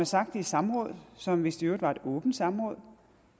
sagt i et samråd som vist i øvrigt var et åbent samråd